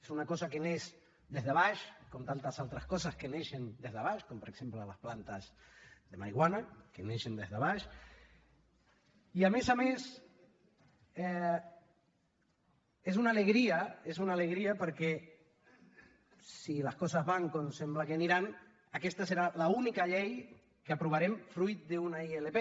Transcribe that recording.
és una cosa que neix des de baix com tantes altres coses que neixen des de baix com per exemple les plantes de marihuana que neixen des de baix i a més a més és una alegria és una alegria perquè si les coses van com sembla que aniran aquesta serà l’única llei que aprovarem fruit d’una ilp